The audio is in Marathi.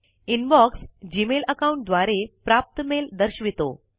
इनबॉक्स जीमेल अकाउंट द्वारे प्राप्त मेल दर्शवितो